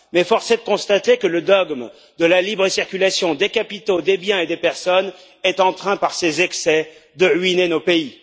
Mais force est de constater que le dogme de la libre circulation des capitaux, des biens et des personnes est en train, par ses excès, de ruiner nos pays.